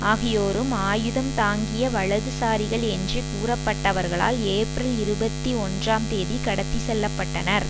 ஆகியோரும் ஆயுதம் தாங்கிய வலதுசாரிகள் என்று கூறப்பட்டவர்களால் ஏப்ரல் இருபத்தி ஒன்றாம் தேதி கடத்தி செல்ல பட்டனர்